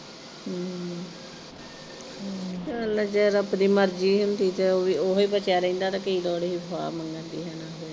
ਹਮ ਹਮ ਚਲ ਜੇ ਰੱਬ ਦੀ ਮਰਜ਼ੀ ਹੁੰਦੀ ਤੇ ਓਵੀਂ, ਉਹੀ ਬਚਿਆ ਰਹਿੰਦਾ ਤਾਂ ਕੀ ਲੋੜ ਹੀ ਹਾਰ ਮੰਨਣ ਦੀ ਹਨਾਂ।